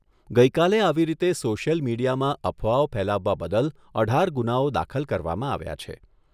ગઈ કાલે આવી રીતે સોશિયલ મીડિયામાં અફવાઓ ફેલાવવા બદલ અઢાર ગુનાઓ દાખલ કરવામાં આવ્યા છે.